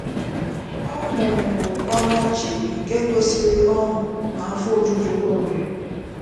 Ọ mụmụrụ ọnụ ọchị nke gosịrị ọṅụ na afọ ojuju o nwere.